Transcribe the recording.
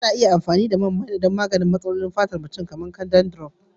Ana iya amfani da man maina don magance matsalolin fatar kan mutum kamar dandruff da tsutsa